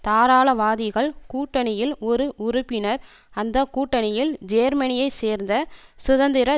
தாராளவாதிகள் கூட்டணியில் ஒரு உறுப்பினர் அந்த கூட்டணியில் ஜேர்மனியை சேர்ந்த சுதந்திர